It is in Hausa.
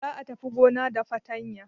Za a tafi gona da fatanya.